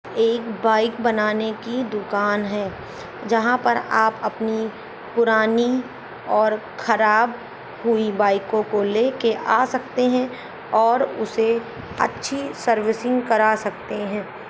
एक बाइक बनाने की दुकान है जहां पर आप अपनी पुरानी और खराब हुई बाइकों को लेके आ सकते हैं और उसे अच्छी सर्विसिंग करा सकते हैं।